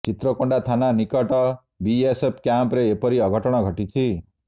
ଚିତ୍ରକୋଣ୍ଡା ଥାନା ନିକଟ ବିଏସ୍ଏଫ୍ କ୍ୟାମ୍ପରେ ଏପରି ଅଘଟଣ ଘଟିଛି